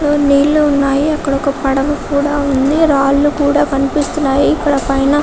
నీళ్లు ఉన్నాయి అక్కడ ఒక పడవ కూడా ఉంది రాళ్ళూ కూడా కనిపిస్తున్నాయి ఇక్కడ ఒక ఆయన --